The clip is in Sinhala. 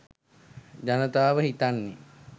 ජනතාව හිතන්නේ